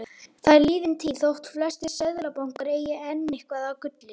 Það er liðin tíð þótt flestir seðlabankar eigi enn eitthvað af gulli.